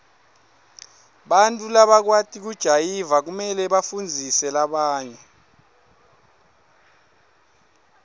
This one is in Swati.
bantfu labakwati kujayiva kumele bafundzise labanye